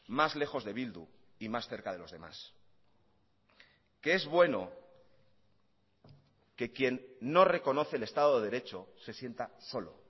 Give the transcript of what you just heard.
más lejos de bildu y más cerca de los demás que es bueno que quien no reconoce el estado de derecho se sienta solo